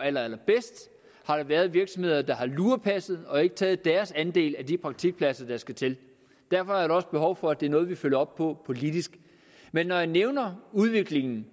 allerallerbedst har der været virksomheder der har lurepasset og ikke taget deres andel af de praktikpladser der skal til derfor er der også behov for at det er noget vi følger op på politisk men når jeg nævner udviklingen